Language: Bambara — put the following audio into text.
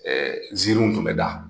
Ɛɛ ziirinw tun be da.